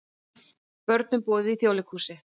Börnum boðið í Þjóðleikhúsið